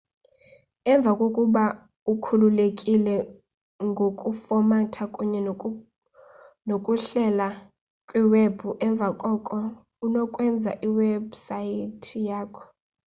emva kokuba ukhululekile ngokufomatha kunye nokuhlela kwiwebhu emva koko unokwenza iwebhusayithi yakho